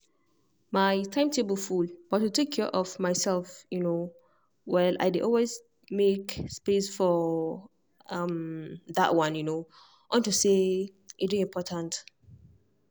my timetable full but to take care of myself um well i dey always make space for um that one you know unto say e dey important